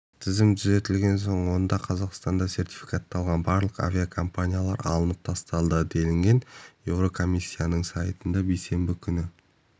тізім түзетілген соң одан қазақстанда сертификатталған барлық авиакомпаниялар алынып тасталды делінген еурокомиссияның сайтында бейсенбі күні